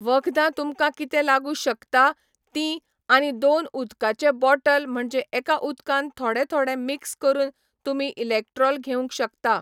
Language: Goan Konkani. वखदां तुमकां कितें लागूं शकता तीं आनी दोन उदकाचे बॉटल म्हणजे एका उदकान थोडें थोडें मिक्स करून तुमी इलॅक्ट्रॉल घेवंक शकता.